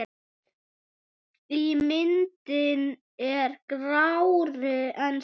Ímyndin er grárri en svo.